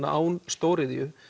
án stóriðju